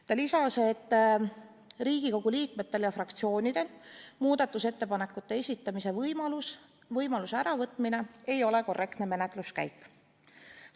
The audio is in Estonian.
Ta lisas, et Riigikogu liikmetelt ja fraktsioonidelt muudatusettepanekute esitamise võimaluse äravõtmine ei ole korrektne menetluskäik.